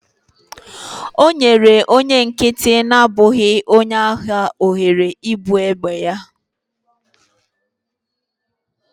O nyere onye nkịtị na-abụghị onye agha ohere ibu egbe ya